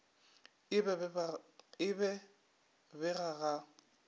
e be be ga go